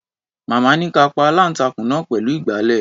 Màmá ní ká a pa aláǹtakùn náà pẹ̀lú ìgbàlẹ̀.